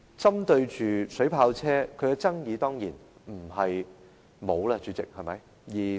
針對水炮車方面，當然不會沒有爭議，代理主席。